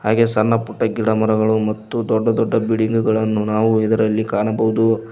ಹಾಗೆ ಸಣ್ಣ ಪುಟ್ಟ ಗಿಡಮರಗಳು ಮತ್ತು ದೊಡ್ಡ ದೊಡ್ಡ ಬಿಲ್ಡಿಂಗಳನ್ನು ನಾವು ಇದರಲ್ಲಿ ಕಾಣಬಹುದು.